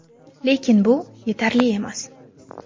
Lekin bu yetarli emas.